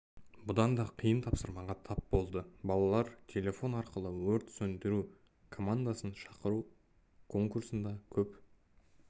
бұдан да қиын тапсырмаға тап болды балалар телефон арқылы өрт сөндіру командасын шақыру конкурсында көп